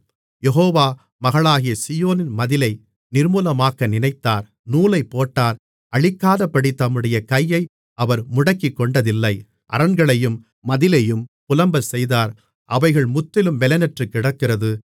யெகோவா மகளாகிய சீயோனின் மதிலை நிர்மூலமாக்க நினைத்தார் நூலைப்போட்டார் அழிக்காதபடி தம்முடைய கையை அவர் முடக்கிக்கொண்டதில்லை அரண்களையும் மதிலையும் புலம்பச்செய்தார் அவைகள் முற்றிலும் பெலனற்றுக்கிடக்கிறது